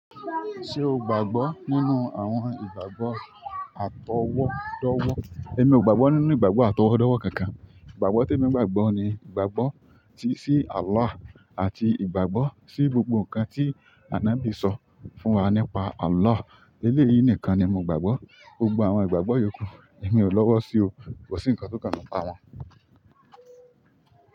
Sé o gbàgbọ́ nínú àwọn ìgbàgbọ́ àtọwọ́dọ́wọ́? Èmi ò gbàgbọ́ nínú ìgbàgbọ́ àtọwọ́dọ́wọ́ kankan. Ìgbàgbọ́ tí èmi gbàgbọ́ ni ìgbàgbọ́ tí si Allah àti ìgbàgbọ́ sí gbogbo nǹkan tí Anábì sọ fún wa nípa Allah. Eléyìí nìkan ni mo gbàgbọ́. Gbogbo àwọn ìgbàgbọ́ yòókù èmi ò lọ́wọ́ sí o. Kò sí ǹkan tó kànmi nípa wọn.